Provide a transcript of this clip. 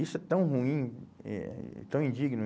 Isso é tão ruim, eh tão indigno.